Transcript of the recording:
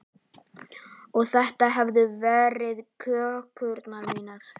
Og þetta hefðu verið kökurnar mínar.